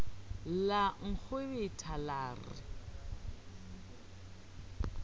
la nkgwebetha la re ke